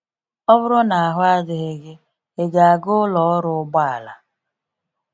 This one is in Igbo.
Ọ bụrụ na ahụ adịghị gị, ịga aga ụlọ ọrụ ụgbọala?